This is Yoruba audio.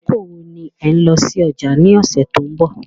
Àkókò wo ni ẹ̀ n lọ sí ọjà ni ọ̀sẹ̀ tó ń bọ̀?